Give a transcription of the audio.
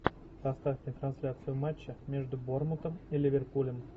поставьте трансляцию матча между борнмутом и ливерпулем